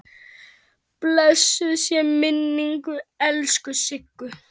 Blessuð sé minning elsku Siggu.